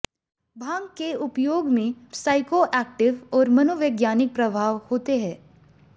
भांग के उपयोग में प्साइकोएक्टिव और मनोवैज्ञानिक प्रभाव होते हैं